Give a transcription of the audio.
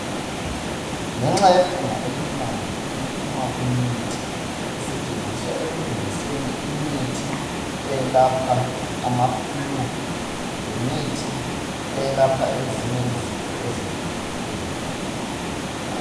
Ngenxa yephunga elimnandi eliphuma kuminti esetshenziswa ekulungiseni imithi eyelapha amaflu, lemithi eyelapha ezinye izifo ezehlukeneyo.